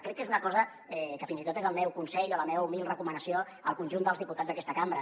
crec que és una cosa que fins i tot és el meu consell o la meva humil recomanació al conjunt dels diputats d’aquesta cambra